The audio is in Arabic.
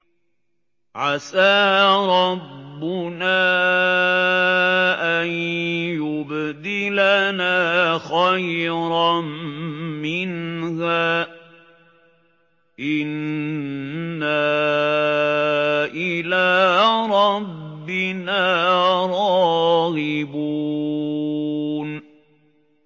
عَسَىٰ رَبُّنَا أَن يُبْدِلَنَا خَيْرًا مِّنْهَا إِنَّا إِلَىٰ رَبِّنَا رَاغِبُونَ